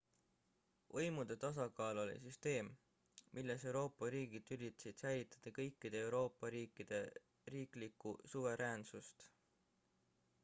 võimude tasakaal oli süsteem milles euroopa riigid üritasid säilitada kõikide euroopa riikide riiklikku suveräänssust